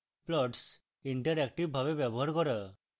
plots ইন্টারেক্টিভভাবে ব্যবহার করা